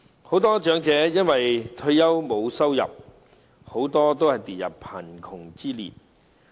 很多長者因為退休後沒有收入，已跌入貧窮之列。